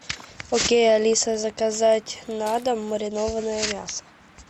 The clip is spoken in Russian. окей алиса заказать на дом маринованное мясо